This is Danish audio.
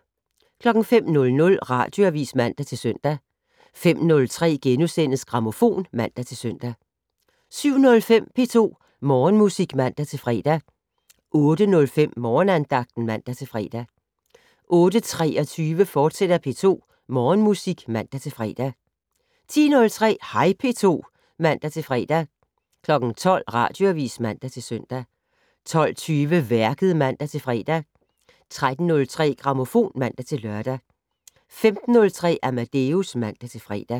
05:00: Radioavis (man-søn) 05:03: Grammofon *(man-søn) 07:05: P2 Morgenmusik (man-fre) 08:05: Morgenandagten (man-fre) 08:23: P2 Morgenmusik, fortsat (man-fre) 10:03: Hej P2 (man-fre) 12:00: Radioavis (man-søn) 12:20: Værket (man-fre) 13:03: Grammofon (man-lør) 15:03: Amadeus (man-fre)